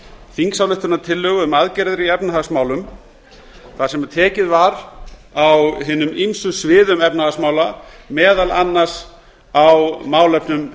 þingsályktunartillögu um aðgerðir í efnahagsmálum þar sem tekið var á hinum ýmsu sviðum efnahagsmála meðal annars á málefnum